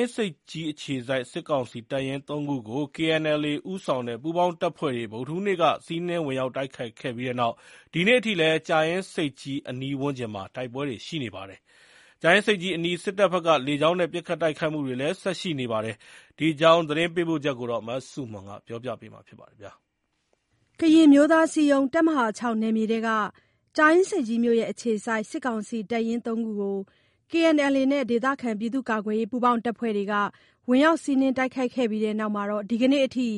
င်းဆိပ်ကြီးအခြေစိုက် စစ်ကောင်စီတပ်ရင်းသုံးခုကို KNLA ဦးဆောင်တဲ့ ပူးပေါင်းတပ်ဖွဲ့တွေ ဗုဒ္ဓဟူးနေ့က စီးနင်းဝင်ရောက်တိုက်ခိုက်ခဲ့ပြီးနောက် ဒီနေ့အထိလည်း ကြာအင်းဆိပ်ကြီးအနီးဝန်းကျင်မှာ တိုက်ပွဲတွေရှိနေပါတယ်။ ကြာအင်းဆိပ်ကြီးအနီး စစ်တပ်ဘက်က လေကြောင်းနဲ့ ပစ်ခတ်တိုက်ခိုက်မှုတွေလည်း ဆက်ရှိပါတယ်။ ဒီအကြောင်း သတင်းပေးပို့ချက်ကို မဆုမွန်က တင်ပြပေးထားပါတယ်။ ကရင်အမျိုးသားအစည်းအရုံး တပ်မဟာ ၆ နယ်မြေတွင်း ကြာအင်းဆိပ်ကြီးမြို့အခြေစိုက် စစ်ကောင်စီတပ်ရင်းသုံးခုကို KNLA နဲ့ ဒေသခံကာကွယ်ရေး ပူးပေါင်းတပ်ဖွဲ့တွေက ဝင်ရောက်စီးနင်းတိုက်ခိုက်ပြီးနောက် ဒီနေ့အထိ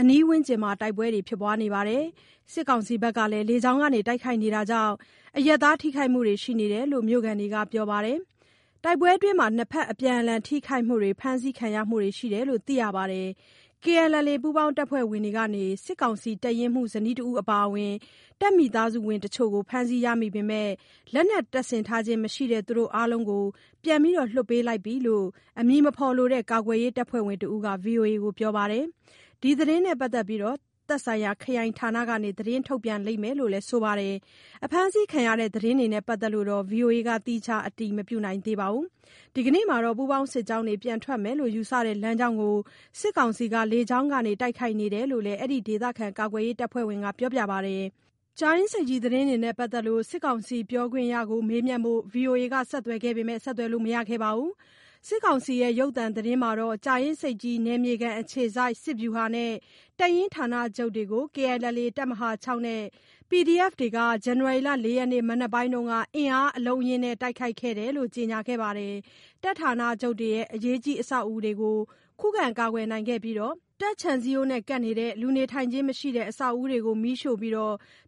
အနီးဝန်းကျင်မှာ တိုက်ပွဲတွေဖြစ်နေပါတယ်။ စစ်ကောင်စီဘက်ကလည်း လေကြောင်းကနေ တိုက်ခိုက်နေတာကြေင့် အရပ်သားထိခိုက်မှုတွေရှိနေတယ်လို့ မြို့ခံတွေကပြောပါတယ်။ တိုက်ပွဲအတွင်း နှစ်ဘက်အပြန်အလှန် ထိခိုက်မှုတွေ၊ ဖမ်းဆီးခံရမှုတွေရှိတယ်လို့ သိရပါတယ်။ KNLA ပူးပေါင်းတပ်ဖွဲ့တွေကနေ စစ်ကောင်စီတပ်ရင်မှူးဇနီးတဦးအပါအဝင် တပ်မိသားစုဝင်တချို့ကို ဖမ်းဆီးရမိပေမယ့် လက်နက်တပ်ဆင်ထားခြင်းမရှိတဲ့ သူတို့အားလုံးပြန်လွှတ်ပေးခဲ့ပြီလို့ အမည်မဖော်လိုတဲ့ ကာကွယ်ရေးတပ်ဖွဲ့ဝင်တဦးက VOA ကို ပြောပါတယ်။ ဒီသတင်းကို သက်ဆိုင်ရာခရိုင်ဌာနကနေ ထုတ်ပြန်လိမ့်မယ်လို့လည်း ဆိုပါတယ်။ အဖမ်းအဆီးခံရမှုသတင်းတွေနဲ့ပတ်သက်လို့ VOA က သီးခြားအတည်မပြုနိုင်သေးပါဘူး။ ဒီနေ့မှာတော့ ပူးပေါင်းစစ်ကြောင်းတွေ ပြန်ထွက်မယ်လို့ယူဆတဲ့ လမ်းကြောင်းကို စစ်ကောင်စီက လေကြောင်းကနေ တိုက်ခိုက်နေတယ်လို့လည်း အဲဒီ ကာကွယ်ရေးအဖွဲ့ဝင်က ပြောပါတယ်။ ကြာအင်းဆိပ်ကြီးသတင်းတွေနဲ့ပတ်သက်လို့ စစ်ကောင်စီပြောခွင့်ရသူကိုမေးမြန်းဖို့ VOA က ဆက်သွယ်လို့မရခဲ့ပါဘူး။ စစ်ကောင်စီရုပ်သံသတင်းမှာတော့ ကြာအင်းဆိပ်ကြီး နယ်မြေခံအခြေစိုက်စစ်ဗျူဟာနဲ့ တပ်ရင်းဌာနချုပ်တွေကို KNLA တပ်မဟာ ၆ နဲ့ PDFs တွေဟာ ဇန်နဝါရီလ ၄ ရက်နေ့မနက်ပိုင်းမှာ အင်အားအလုံးအရင်းနဲ့တိုက်ခိုက်ခဲ့တယ်လို့ ကြေညာပါတယ်။ တပ်ဌာနချုပ်တွေရဲ့ အရေးကြီးအဆောက်အဦးတွေကို ခုခံကာကွယ်နိုင်ခဲ့ပြီး တပ်ခြံစည်းရိုးကပ် လူနေထိုင်ခြင်းမရှိတဲ့အဆောက်အဦးတွေကို မီးရှို့ပြီး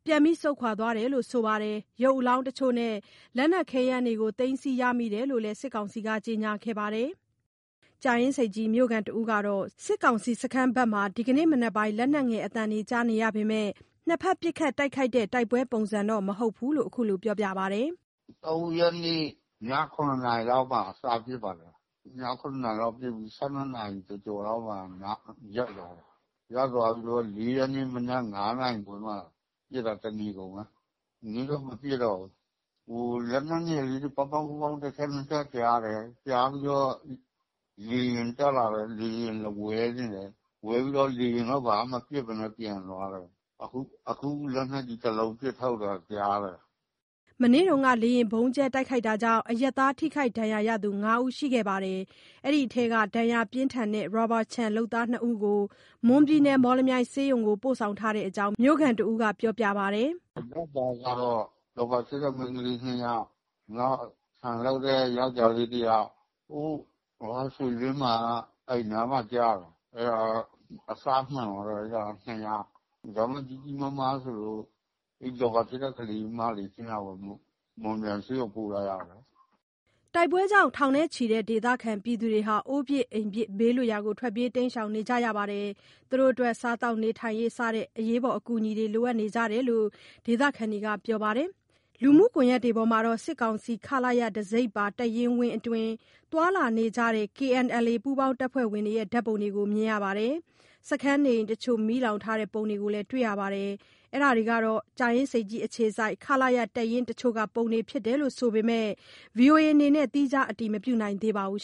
ပြန်ဆုတ်သွားတယ်လို့ဆိုပါတယ်။ ရုပ်အလောင်းတချို့နဲ့ လက်နက်ခဲယမ်းတွေကို သိမ်းဆည်းရမိတယ်လို့လည်း စစ်ကောင်စီက ကြေညာခဲ့ပါတယ်။ ကြာအင်းဆိပ်မြို့ခံတဦးကတော့ စစ်ကောင်စီစခန်းဘက်မှာ ဒီနေ့မနက်ပိုင်း လက်နက်ငယ် အသံကြားနေရပေမယ့် နှစ်ဘက်ပစ်ခတ်တိုက်ခိုက်တဲ့ တိုက်ပွဲပုံစံတော့ မဟုတ်ဘူးလို့ ခုလို ပြောပါတယ်။ “၃ ရက်နေ့ ည ၇ နာရီလောက်မှာ စဖြစ်ပါတယ်။ ည ၇ နာရီလောက်ဖြစ်ပြီး ၁၂ နာရီကျော်ကျော်လောက် ရပ်သွားတယ်။ ရပ်သွားပြီးတော့ ၄ ရက်နေ့မနက် ၅ နာရီခွဲမှာပစ်တာ တနေကုန်ပဲ ဒီနေ့တော့ မပစ်တော့ဘူး။ ဟို… လက်နက်ငယ် ပေါက် ပေါက် ပေါက် တချက် နှစ်ချက် ကြားတယ်။ ကြားပြီးတော့ လေယာဉ်တက်လာတယ်။ လေယာဉ်လာဝဲနေတယ်။ ဝဲပြီးတော့ လေယာဉ်က ဘာမပစ်ဘဲနဲ့ ပြန်သွားတယ်။ အခု အခု လက်နက်ကြီးတလုံး ပစ်ထုတ်သံကြားတယ်။” မနေ့က လေယာဉ်ဗုံးကြဲမှုကြောင့် အရပ်သားထိခိုက်ဒဏ်ရာရရှိသူ ၅ ဦး ရှိပြီး အဲဒီ့ထဲက ဒဏ်ရာပြင်းထန်တဲ့ ရာဘာခြံအလုပ်သား ၂ ဦးကို မွန်ပြည်နယ် မော်လမြိုင်ဆေးရုံကို ပို့ထားတဲ့အကြောင်း မြို့ခံတဦးက ပြောပါတယ်။ “အရပ်သားကတော့ ရာဘာခြစ်တဲ့ မိန်းကလေး နှစ်ယောက်၊ နောက် ခြံလုပ်တဲ့ ယောကျာ်းလေးတယောက်။ ဟို ရွှေရင်းမှာက အိမ်နားမှာကျတာ။ အဲ့ဒါတော့ အစမှန်သွားတာ။ နှစ်ယောက်။ ဒါပေမယ့် ကြီးကြီးမားမားဆိုလို့ အဲ့ဒီရာဘာခြစ်တဲ့ ကလေးမလေး နှစ်ယောက်ပေါ့ မော်လမြိုင်ဆေးရုံပို့ထားရတယ်။” တိုက်ပွဲကြောင့် ထောင်နဲ့ချီတဲ့ ဒေသခံတွေ အိုးပစ်အိမ်ပစ် ဘေးလွတ်ရာကို ထွက်ပြေး တိမ်းရှောင်နေကြပြီး စားရေးသောက်ရေးစတဲ့ အကူအညီတွေလည်း လိုအပ်နေကြတယ်လို့ ဒေသခံတွေကပြောပါတယ်။ လူမှုကွန်ယက်တွေပေါ်မှာတော့ စစ်ကောင်စီ ခလရ တံဆိပ်ပါ တပ်ရင်းဝင်းအတွင်း သွားလာနေကြတဲ့ KNLA ပူးပေါင်းတပ်ဖွဲ့ဝင်ဓါတ်ပုံတွေကို မြင်ရပါတယ်။ စခန်းနေအိမ်တချို့ မီးလောင်ထားတဲ့ပုံလည်းတွေ့ရပါတယ်။ အဲဒါဟာ ကြာအင်းဆိပ်ကြီးအခြေစိုက် ခလရတပ်ရင်းတချို့က ပုံတွေဖြစ်တယ်လို့ ဆိုပေမယ့် VOA က သီးခြားအတည်မပြုနိုင်သေးပါဘူး